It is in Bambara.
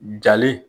Jali